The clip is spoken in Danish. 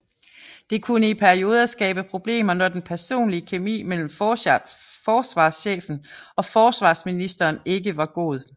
Det kunne i perioder skabe problemer når den personlige kemi mellem forsvarschefen og forsvarsministeren ikke var god